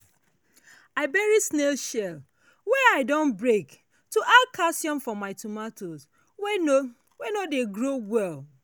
i bury snail shell wey i don break to add calcium for my tomato wey no wey no dey grow well.